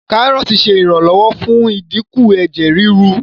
Kárọ́ọ̀tì ṣe iranlọwọ fún idínkù Ẹ̀jẹ̀ ríru.